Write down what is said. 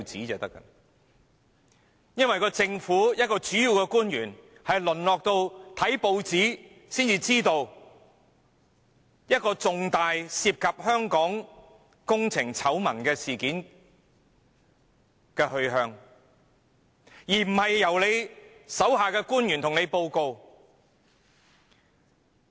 一位主要政府官員竟然淪落至要看報紙才得知涉及香港工程醜聞的重大事件的來龍去脈，而不是由其屬下官員向他報告。